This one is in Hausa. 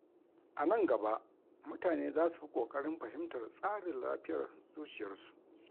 A nan gaba, mutane za su fi kokarin fahimtar tsarin lafiyar zuciyarsu.